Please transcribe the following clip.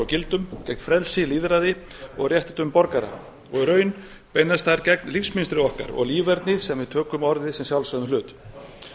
gildum gegn frelsi lýðræði og rétti borgara og í raun beinast þær gegn lífsmynstri okkar og líferni sem við tökum sem sjálfsögðum hlut ég